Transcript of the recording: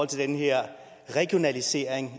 til den her regionalisering